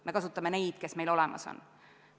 Me kasutame neid, kes meil olemas on.